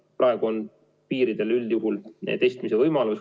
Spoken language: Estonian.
Praegu on piiridel üldjuhul testimise võimalus.